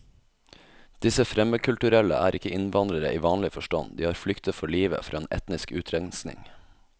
Disse fremmedkulturelle er ikke innvandrere i vanlig forstand, de har flyktet for livet fra en etnisk utrenskning.